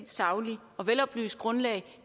sagligt og veloplyst grundlag